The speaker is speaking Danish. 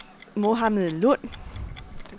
Mohammad Lund